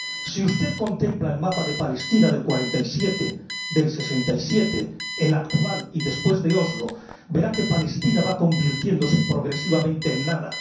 Si usted contempla el mapa de Palestina del 47, del 67, el actual y después de Oslo, verá que Palestina va convirtiéndose progresivamente en nada.